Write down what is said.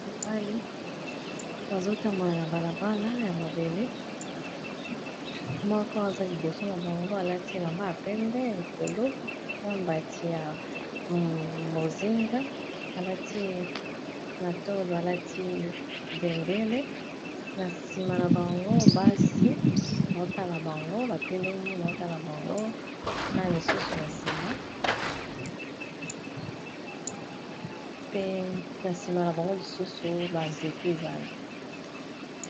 bamibali bazotambona na balabala ya mabele moko aza liboso na bango alati elamba ya pembe likolo na mbati ya bozinga alati na tolo alati bendele na nsima na bango basi baotala bango batelemi baotala bango na misusu na nsima pe na nsima na bango lisusu banzete ezali